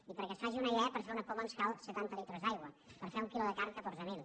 i perquè se’n faci una idea per fer una poma ens cal setanta litres d’aigua per fer un quilo de carn catorze mil